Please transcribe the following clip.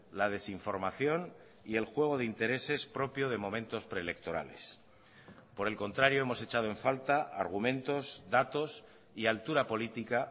la desinformación y el juego de intereses propio de momentos preelectorales por el contrario hemos echado en falta argumentos datos y altura política